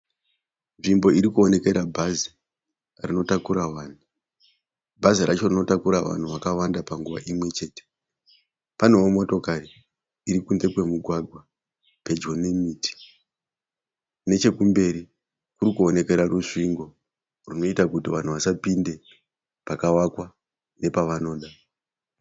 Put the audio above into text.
Nzvimbo iri kuonekera bhazi rinotakara vanhu. Bhazi racho rinotakura vanhu vakawanda panguva imwe chete. Panewo motokari iri kunze kwemugwagwa pedyo nemiti. Nechekumberi kuri kuonekwa rusvingo runoita kuti vanhu vasapinde pakavakwa nepavanoda.